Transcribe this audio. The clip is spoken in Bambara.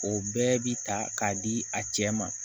O bɛɛ bi ta k'a di a cɛ ma